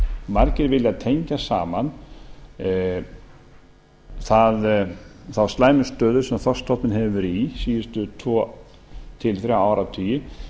margir vilja tengja saman þá slæmu stöðu sem þorskstofninn hefur verið í síðustu tvo til þrjá áratugi